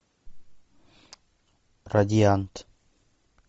радиант